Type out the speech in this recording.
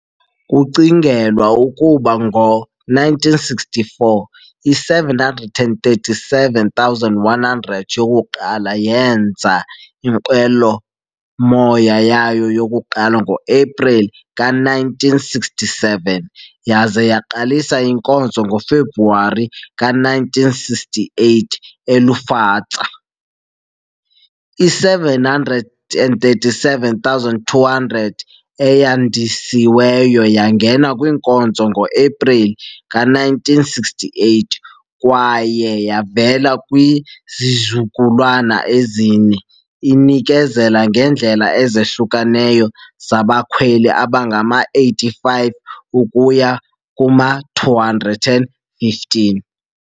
Kucingelwa ukuba ngo-1964, i-737-100 yokuqala yenza inqwelomoya yayo yokuqala ngo-Epreli ka-1967 yaza yaqalisa inkonzo ngoFebruwari ka-1968 eLufthansa .I-737-200 eyandisiweyo yangena kwinkonzo ngo-Epreli 1968, kwaye yavela kwizizukulwana ezine, inikezela ngeendlela ezahlukeneyo zabakhweli abangama-85 ukuya kuma-215.